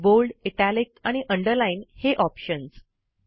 bold italic आणि underline हे options